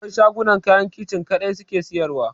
Akwai shagunan da kayan Kicin kaɗai suke siyarwa.